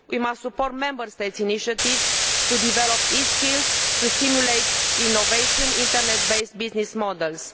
We must support Member States' initiatives to develop e skills to stimulate innovative, internet based business models.